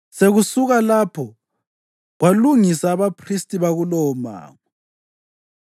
Sekusuka lapho kwalungisa abaphristi bakulowomango.